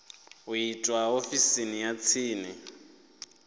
u itwa ofisini ya tsini